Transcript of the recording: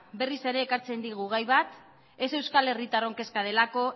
berriz ere ekartzen digu gai bat ez euskal herritarron kezka delako